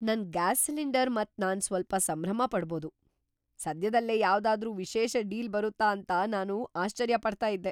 ನನ್ gas cylinder ಮತ್ ನಾನ್ ಸ್ವಲ್ಪ ಸಂಭ್ರಮ ಪಡ್ಬೋದು! ಸದ್ಯದಲ್ಲೇ ಯಾವ್ದಾದ್ರು ವಿಶೇಷ ಡೀಲ್ ಬರುತ್ತಾ ಅಂತ ನಾನು ಆಶ್ಚರ್ಯ ಪಡ್ತಾ ಇದ್ದೆ.